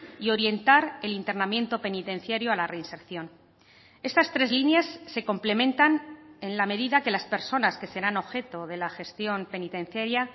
y orientar el internamiento penitenciario a la reinserción estas tres líneas se complementan en la medida que las personas que serán objeto de la gestión penitenciaria